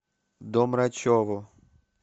домрачеву